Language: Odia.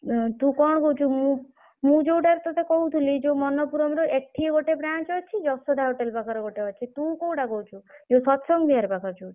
ତୁ କଣ କହୁଛୁ ମୁଁ ମୁଁ ଯୋଉଟାରେ ତତେ କହୁଥିଲି ଯୋଉ ମନ୍ନପୂରମ୍ ର ଏଠି ଗୋଟେ branch ଅଛି ଯଶୋଦା hotel ପାଖରେ ଗୋଟେ ଅଛି ତୁ କୋଉଟା କହୁଛୁ ଯୋଉ ସତସଙ୍ଗ ବିହାର ପାଖରେ ଯୋଉଠି?